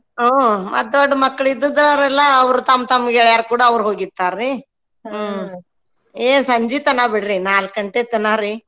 ಹಾ ಮತ್ ದೊಡ್ ಮಕ್ಳಿದ್ದಿದ್ದೋರೆಲ್ಲಾ ಅವ್ರ ತಮ್ ತಮ್ ಗೆಳೆಯಾರ್ ಕೂಡ ಅವ್ರು ಹೋಗಿರ್ತಾರ್ರೀ ಏ ಸಂಜಿ ತನಾ ಬಿಡ್ರಿ ನಾಕ್ ಗಂಟೆ ತನಾ ರ್ರೀ.